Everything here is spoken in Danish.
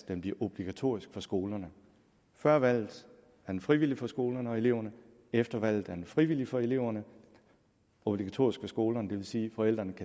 den bliver obligatorisk for skolerne før valget er den frivillig for skolerne og eleverne og efter valget er den frivillig for eleverne og obligatorisk for skolerne det vil sige at forældrene